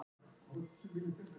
Tímarnir breytast og mennirnir með.